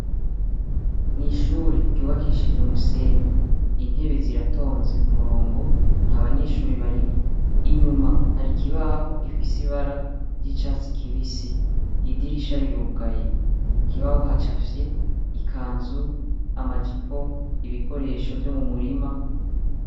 Mw'ishuri ryubakishije umusenyi, intebe ziratonze kumurongo ntab'anyeshure barimwo. Inyuma har'ikibaho gifise ibara ry'icatsi kibisi. Idirisha rirugaye. Ku kibaho hacafye ikanzu, ama jipo, ibikoresho vyo mumutima.